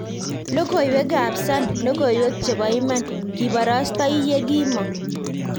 Logoiwek ab Sun; logoiwek chebo iman kibarastai yekimong'